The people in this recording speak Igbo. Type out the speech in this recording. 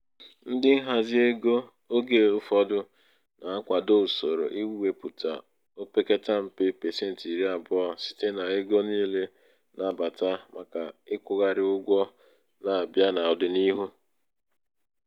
ndị nhazi ego oge ụfọdụ na-akwado usoro iwepụta o pekata mpe um pasenti iri abụọ site n'ego um niile na-abata maka ịkwụgharị ụgwọ na-abịa n'ọdịniihu. um